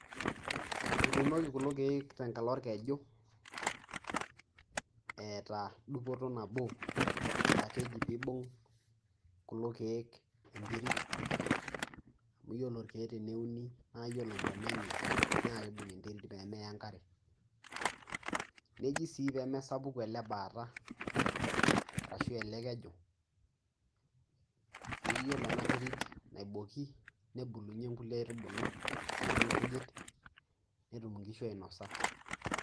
Etuunoki kulo keek tenkalo orkeju, eeta dupoto nabo, aah keji peyie eibung' kulo keek enterit amuu iyiolo irkeek teneuni naa iyiolo intona eenye naa keibung' enterit peemeya enakre, neji sii peyie mesapuku eele baata, arashu eele keju, iyiolo eena terit naiboiki nebulunyie inkulie aitubulu naijo inkujit netumoki inkishu ainosa.